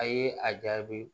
A ye a jaabi